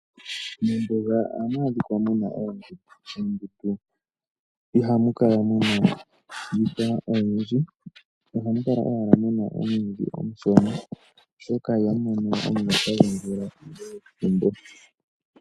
Mombuga ohamu adhika muna oondundu. Moondundu ihamu kala muna iihwa oyindji, ohamu kala owala muna omwiidhi omushona oshoka ihamu mono omuloka gwomvula pethimbo.